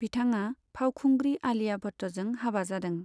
बिथाङा फावखुंग्रि आलिया भट्टजों हाबा जादों।